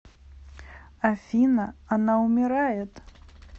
афина она умирает